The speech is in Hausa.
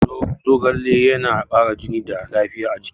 Zogale yana kara jini da lafiya a jiki